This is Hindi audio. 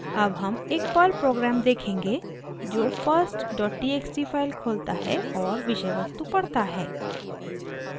अब हम एक पर्ल प्रोग्राम देखेंगे जो firsttxt फाइल खोलता है और विषय वस्तु पढ़ता है